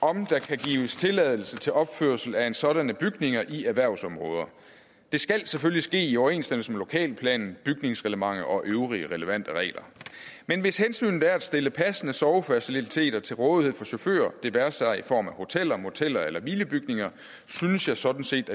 om der kan gives tilladelse til opførsel af sådanne bygninger i erhvervsområder det skal selvfølgelig ske i overensstemmelse med lokalplanen bygningsreglementet og øvrige relevante regler men hvis hensynet er at stille passende sovefaciliteter til rådighed for chauffører det være sig i form af hoteller moteller eller hvilebygninger så synes jeg sådan set